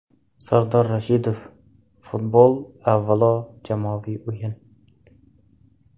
Sardor Rashidov: - Futbol avvalo jamoaviy o‘yin.